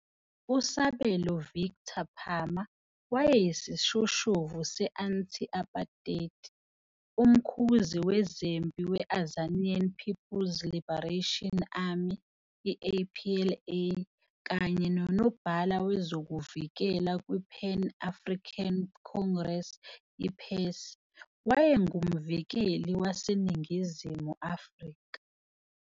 USabelo Victor Phama wayeyisishoshovu se-Anti-Aparthaid, uMkhuzi Wezempi we- Azanian People's Liberation Army APLA kanye noNobhala Wezokuvikela kwi- Pan African Congress PAC. Wayengumvukeli waseNingizimu Afrika.